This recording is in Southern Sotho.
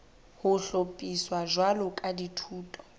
ho hlophiswa jwalo ka dithuto